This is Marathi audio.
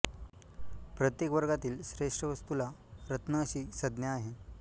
प्रत्येक वर्गातील श्रेष्ठ वस्तूला रत्न अशी संज्ञा आहे